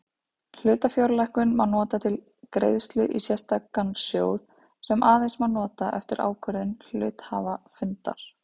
Hlutafjárlækkun má nota til greiðslu í sérstakan sjóð sem aðeins má nota eftir ákvörðun hluthafafundar.